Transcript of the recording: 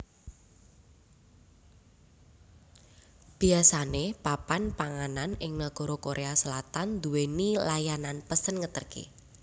Biasane papan panganan ing nagara Korea Selatan nduwèni layanan pesen ngeterke